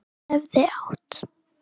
Hefði átt